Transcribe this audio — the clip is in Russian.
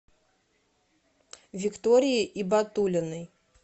виктории ибатуллиной